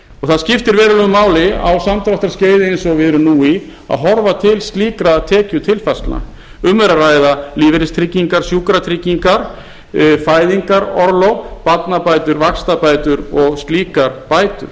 það skiptir verulegu máli á samdráttarskeiði eins og við erum nú í að horfa til slíkra tekjutilfærslna um er að ræða lífeyristryggingar sjúkratryggingar fæðingarorlof barnabætur vaxtabætur og slíkar bætur